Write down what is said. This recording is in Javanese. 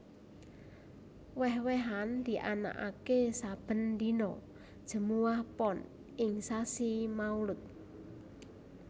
Wèh wèhan dianakaké saben dina Jemuwah Pon ing sasi Maulud